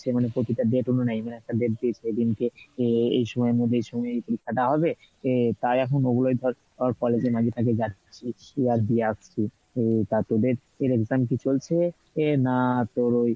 মানে প্রতিটা একটা date দিয়েছে, সেদিনকে এ~ এই সময়ের মধ্যেই এই সময় এই পরীক্ষা টা হবে তো তাই এখন ওগুলোই ধর আহ college এ মাঝে মাঝে যাচ্ছি ও তা তোদের exam কি চলছে? না তোর ওই